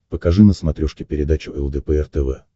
покажи на смотрешке передачу лдпр тв